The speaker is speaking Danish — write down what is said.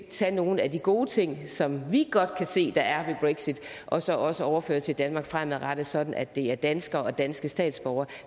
tage nogle af de gode ting som vi godt kan se der er ved brexit og så også overføre dem til danmark fremadrettet sådan at det er danskere og danske statsborgere